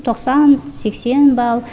тоқсан сексен балл